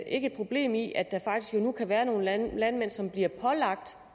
ikke et problem i at der faktisk nu kan være nogle landmænd som bliver pålagt